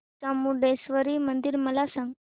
चामुंडेश्वरी मंदिर मला सांग